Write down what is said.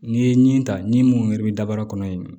N'i ye ɲi ta ni mun yɛrɛ bɛ daba kɔnɔ yen